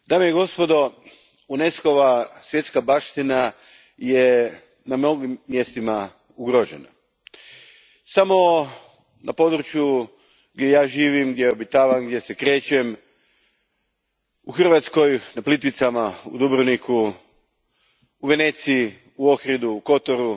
Gospođo predsjednice, dame i gospodo, UNESCO va svjetska baština je na mnogim mjestima ugrožena. Samo na području gdje ja živim, gdje obitavam, gdje se krećem u Hrvatskoj, na Plitvicama, u Dubrovniku, u Veneciji, u Ohridu, u Kotoru,